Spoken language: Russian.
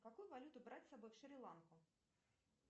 какую валюту брать с собой в шри ланку